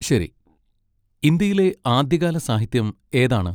ശരി. ഇന്ത്യയിലെ ആദ്യകാല സാഹിത്യം ഏതാണ്?